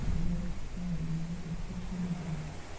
две с половиной тысячи рублей